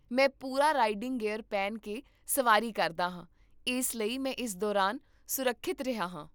ਮੈਂ ਪੂਰਾ riding gear ਪਹਿਨ ਕੇ ਸਵਾਰੀ ਕਰਦਾ ਹਾਂ, ਇਸ ਲਈ ਮੈਂ ਇਸ ਦੌਰਾਨ ਸੁਰੱਖਿਅਤ ਰਿਹਾ ਹਾਂ